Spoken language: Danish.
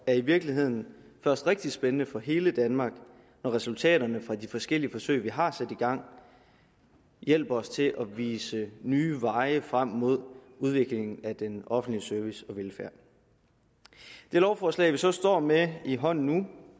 er i virkeligheden først rigtig spændende for hele danmark når resultaterne fra de forskellige forsøg vi har sat i gang hjælper os til at vise nye veje for udviklingen af den offentlige service og velfærd det lovforslag vi så står med i hånden nu